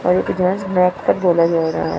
बोला जा रहा है।